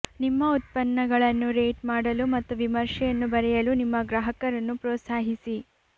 ನಿಮ್ಮ ಉತ್ಪನ್ನಗಳನ್ನು ರೇಟ್ ಮಾಡಲು ಮತ್ತು ವಿಮರ್ಶೆಯನ್ನು ಬರೆಯಲು ನಿಮ್ಮ ಗ್ರಾಹಕರನ್ನು ಪ್ರೋತ್ಸಾಹಿಸಿ